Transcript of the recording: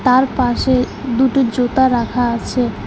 আর পাশে দুটো জুতা রাখা আছে।